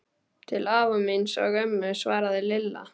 Til afa míns og ömmu svaraði Lilla.